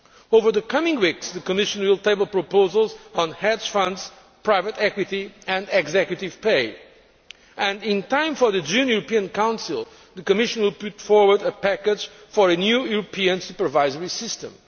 Over the coming weeks the Commission will table proposals on hedge funds, private equity and executive pay and, in time for the June European Council, the Commission will put forward a package for a new European supervisory system.